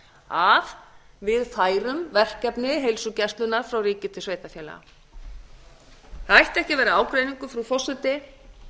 að við færum verkefni heilsugæslunnar frá ríki til sveitarfélaga það ætti ekki að brá ágreiningur frú forseti